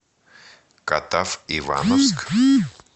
катав ивановск